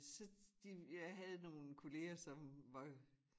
Så de jeg havde nogen kolleger som var